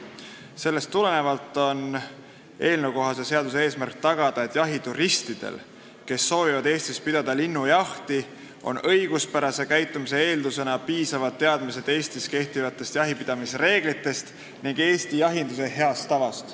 Sellest tulenevalt on eelnõu eesmärk tagada, et jahituristidel, kes soovivad Eestis pidada linnujahti, on õiguspärase käitumise eeldusena piisavad teadmised Eestis kehtivatest jahipidamisreeglitest ning Eesti jahinduse heast tavast.